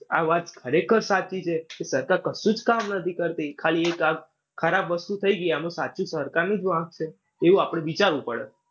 આ વાત ખરેખર સાચી છે કે સરકાર કશું જ કામ નથી કરતી. ખાલી એક આ ખરાબ વસ્તુ થઈ ગઈ એમાં સાચું સરકારનું જ વાંક છે એવું આપણે વિચારવું પડે.